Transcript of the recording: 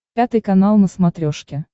пятый канал на смотрешке